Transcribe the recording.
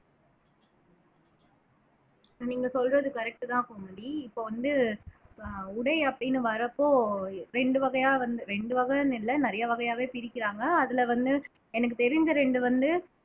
நீங்க சொல்றது correct தான் கோமதி இப்ப வந்து ஆஹ் உடை அப்படின்னு வர்றப்போ ரெண்டு வகையா வந்து ரெண்டு வகைன்னு இல்லை நிறைய வகையாவே பிரிக்கிறாங்க அதுல வந்து எனக்கு தெரிஞ்ச ரெண்டு வந்து